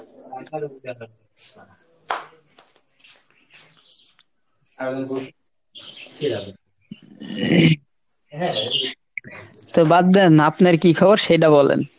তো বাদ দেন, আপনার কী খবর সেইডা বলেন।